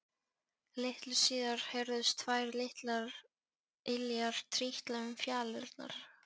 Litlu síðar heyrðust tvær litlar iljar trítla um fjalirnar.